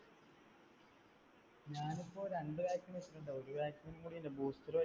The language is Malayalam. ഞാൻ ഇപ്പൊ രണ്ട് vaccine വെച്ചിട്ടുണ്ട്. ഒരു vaccine കൂടിയുണ്ട്. booster